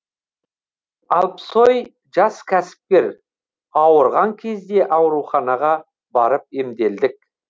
алпсой жас кәсіпкер ауырған кезде ауруханаға барып емделдік